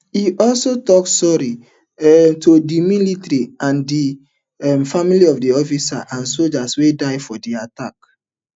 e also tok sorry um to di military and di um families of officers and sojas wey die for di attack